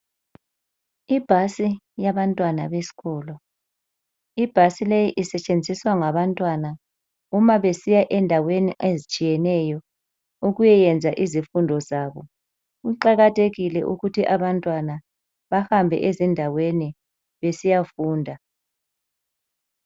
Ibhasi yabantwana beskolo, ibhasi leyi isetshenziswa ngabantwana uma besiya endaweni ezitshiyeneyo ukuyayenza izifundo zabo kuqakathekile ukuthi abantwana bahambe ezindaweni besiyafunda.